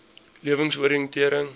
lewensoriëntering